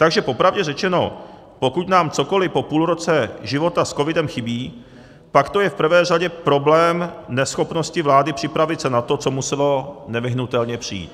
Takže po pravdě řečeno, pokud nám cokoli po půlroce života s covidem chybí, pak to je v prvé řadě problém neschopnosti vlády připravit se na to, co muselo nevyhnutelně přijít.